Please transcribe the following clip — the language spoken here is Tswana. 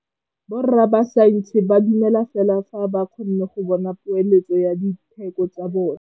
Borra saense ba dumela fela fa ba kgonne go bona poeletsô ya diteko tsa bone.